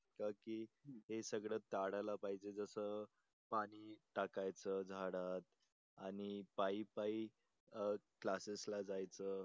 की हे सगळ टाळायला पाहिजे जस पाणी टाकायच झाडात आणि पायी पायी अं क्लासेसला जायच